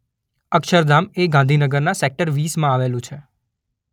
અક્ષરધામ એ ગાંધીનગરના સેકટર વીસમાં આવેલું છે.